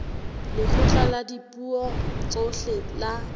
lekgotla la dipuo tsohle la